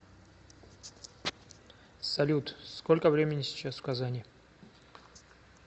салют сколько времени сейчас в казани